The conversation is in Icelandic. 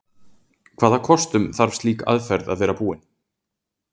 Hvaða kostum þarf slík aðferð að vera búin?